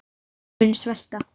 Þeir munu svelta.